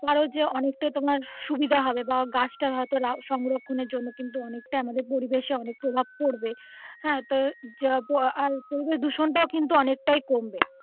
ধরো যে অনেকটাই তোমার সুবিধা হবে বা গাছটা হয় তো সংরক্ষণের জন্য কিন্তু অনেকটা আমাদের পরিবেশে অনেক প্রভাব পড়বে হ্যা তো পরিবেশ দূষণ টাও কিন্তু অনেকটাই কমবে.